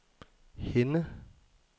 Henne